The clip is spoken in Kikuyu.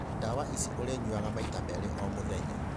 Ndawa ici ũrĩnyuaga maita merĩ o mũthenya.